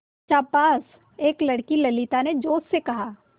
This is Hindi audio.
शाबाश एक लड़की ललिता ने जोश से कहा